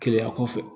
Keleya kɔfɛ